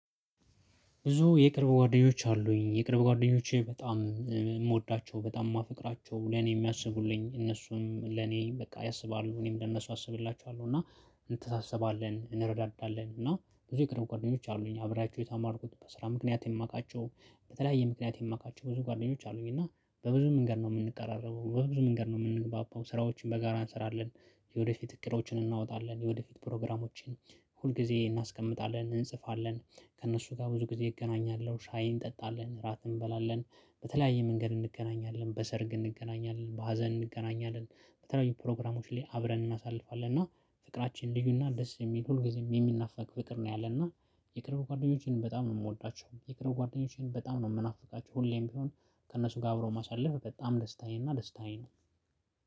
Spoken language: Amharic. ብዙ የቅርብ ጓደኞች አሉኝ። የቅርብ ጓደኞቼ በጣም የምወዳቸው በጣም የማፈቅራቸው ለኔ የሚያስቡልኝ እነሱም ለኔ በቃ ያሰባሉ እኔም ለእነሱ አስብላቸዋለሁ እና እንተሳሰባለን እንረዳዳለን እና ብዙ የቅርብ ጓደኞች አሉኝ አብሪያቸው የታማርኩት በስራ ምክንያት የማውቃቸው በተለያየ ምክንያት የማውቃቸው ብዙ ጓደኞች አሉኝ፤ እና በብዙ መንገድ ነው የምንቀራረበው በብዙ መንገድ ነው የምንግባባው ስራዎችን በጋራ እንሰራለን፣ የወደፊት እቅዶችን እናወጣለን፣ የወደፊት ፕሮግራሞችን ሁልጊዜ እናስቀምጣለን እንጽፋለን፣ ከእነሱ ጋር ብዙ ጊዜ እገናኛለሁ፣ ሻይ እንጠጣለን፣ እራት እንበላለን፣ በተለያየ መንገድ እንገናኛለን፣ በሰርግ እንገናኛለን፣ በሀዘን እንገናኛለን፣ በተለያዩ ፕሮግራሞች ላይ አብረን እናሳልፋለን፤ እና ፍቅራችን ልዩና ደስ የሚል ሁልጊዜም የሚናፋቅ ፍቅር ነው ያለን እና የቅርብ ጓደኞቼን በጣም ነው የምወዳቸው የቅርብ ጓደኞቼን በጣም ነው የምናፍቃቸው ሁሌም ቢሆን ከእነሱ ጋር አብሮ ማሳለፍ በጣም ደስታዬና ደስታዬ ነው።